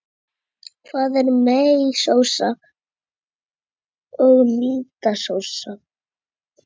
Hvað er meiósa og mítósa?